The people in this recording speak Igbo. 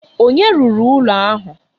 Onye rụrụ ụlọ ahụ?